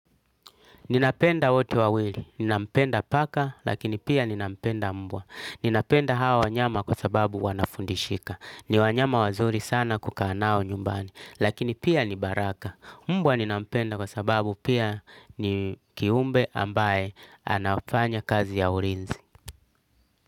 Ninapenda wote wawiri. Ninampenda paka lakini pia ninampenda mbwa. Ninapenda hawa wanyama kwa sababu wanafundishika. Ni wanyama wazuri sana kukaa nao nyumbani. Lakini pia ni baraka. Mbwa ninampenda kwa sababu pia ni kiumbe ambaye anafanya kazi ya urinzi.